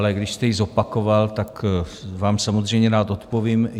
Ale když jste ji zopakoval, tak vám samozřejmě rád odpovím.